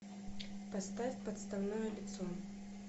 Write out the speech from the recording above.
поставь подставное лицо